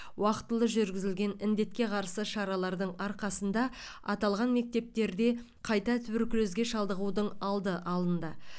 уақытылы жүргізілген індетке қарсы шаралардың арқасында аталған мектептерде қайта туберкулезге шалдығудың алды алынды